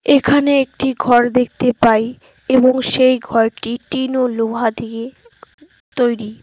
এখানে একটি ঘর দেখতে পাই এবং সেই ঘরটি টিন ও লোহা দিয়ে তৈরি।